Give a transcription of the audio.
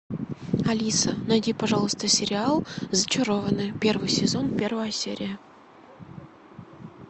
алиса найди пожалуйста сериал зачарованные первый сезон первая серия